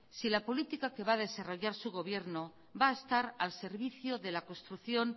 si la política que va a desarrollar su gobierno va a estar al servicio de la construcción